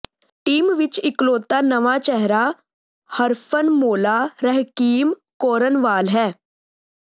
team ਵਿੱਚ ਇਕਲੌਤਾ ਨਵਾਂ ਚਿਹਰਾ ਹਰਫ਼ਨਮੌਲਾ ਰਹਿਕੀਮ ਕੋਰਨਵਾਲ ਹੈ